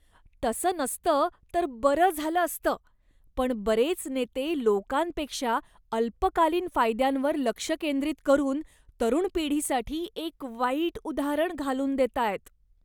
तसं नसतं तर बरं झालं असतं, पण बरेच नेते लोकांपेक्षा अल्पकालीन फायद्यांवर लक्ष केंद्रित करून तरुण पिढीसाठी एक वाईट उदाहरण घालून देतायत.